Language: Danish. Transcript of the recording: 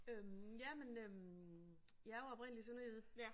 Øh jamen øh jeg er jo oprindeligt sønderjyde